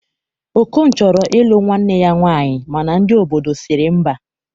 Okon chọrọ ilụ nwanne ya nwaanyi mana ndi obodo siri mba